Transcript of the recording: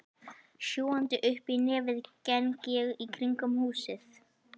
Sjúgandi uppí nefið geng ég í kringum húsið.